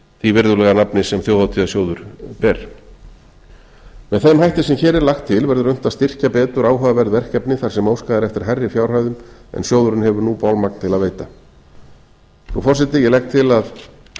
því virðulega nafni sem þjóðhátíðarsjóður ber með þeim hætti sem hér er lagt til verður unnt að styrkja betur áhugaverð verkefni þar sem óskað er eftir hærri fjárhæðum en sjóðurinn hefur bolmagn til að veita nú frú forseti ég legg til að